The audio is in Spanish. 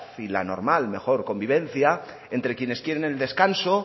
y la normal y mejor convivencia entre quienes quieren el descanso